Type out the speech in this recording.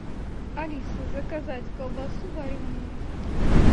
алиса заказать колбасу вареную